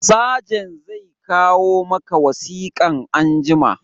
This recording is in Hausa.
Sajent zai kawo maka wasikan anjima